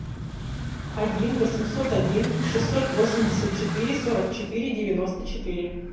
один восемьсот один шестьсот восемьдесят четыре сорок четыре девяносто четыре